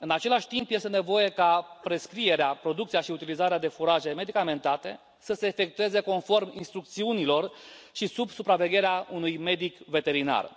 În același timp, este nevoie ca prescrierea, producția și utilizarea de furaje medicamentate să se efectueze conform instrucțiunilor și sub supravegherea unui medic veterinar.